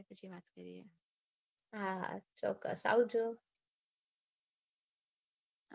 હા હા ચોક્કસ આવજો.